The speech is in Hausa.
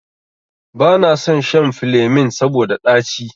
Banason shan filemin saboda ɗaci.